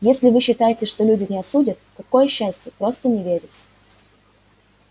если вы считаете что люди не осудят какое счастье просто не верится